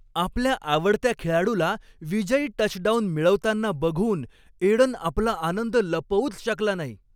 आपल्या आवडत्या खेळाडूला विजयी टचडाउन मिळवताना बघून एडन आपला आनंद लपवूच शकला नाही.